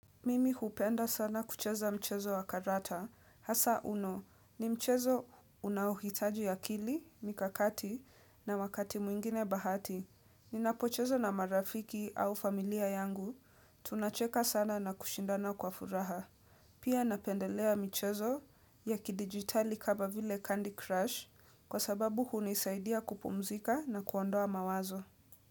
Mimi hupenda sana kucheza mchezo wa karata, hasa uno ni mchezo unaohitaji akili, mikakati na wakati mwingine bahati. Ninapocheza na marafiki au familia yangu, tunacheka sana na kushindana kwa furaha. Pia napendelea michezo ya kidigitali kama vile Candy Crush kwa sababu hunisaidia kupumzika na kuondoa mawazo.